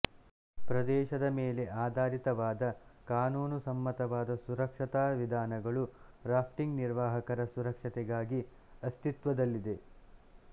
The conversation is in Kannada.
ಪ್ರದೇಶದ ಮೇಲೆ ಆಧಾರಿತವಾದ ಕಾನೂನು ಸಮ್ಮತವಾದ ಸುರಕ್ಷತಾ ವಿಧಾನಗಳು ರಾಫ್ಟಿಂಗ್ ನಿರ್ವಾಹಕರ ಸುರಕ್ಷತೆಗಾಗಿ ಅಸ್ತಿತ್ವದಲ್ಲಿವೆ